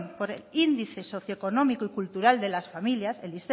por índice socioeconómico y cultural de las familias el